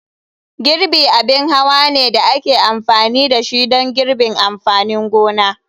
Girbi abin hawa ne da ake amfani da shi don girbin amfanin gona.